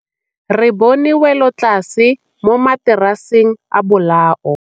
Re bone wêlôtlasê mo mataraseng a bolaô.